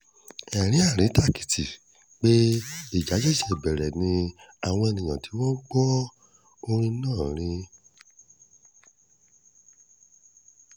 ẹ̀rín àríntàkìtì pé ìjà ṣẹ̀ṣẹ̀ bẹ̀rẹ̀ làwọn èèyàn tí wọ́n gbọ́ orin náà ń rìn